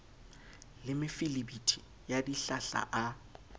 le mefelebithi ya dihlahla a